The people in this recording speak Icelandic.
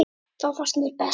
Það finnst mér best.